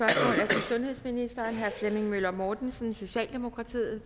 sundhedsministeren af herre flemming møller mortensen socialdemokratiet